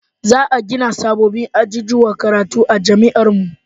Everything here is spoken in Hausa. Za a gina sabbabin ajujuwan karatu a jami'ar mu